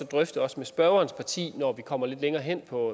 drøfte også med spørgerens parti når vi kommer lidt længere hen på